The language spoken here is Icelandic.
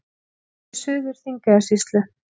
Nafn í Suður-Þingeyjarsýslu.